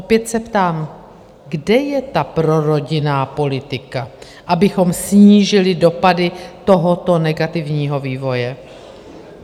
Opět se ptám, kde je ta prorodinná politika, abychom snížili dopady tohoto negativního vývoje?